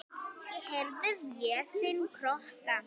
Ég heyri Véstein kjökra.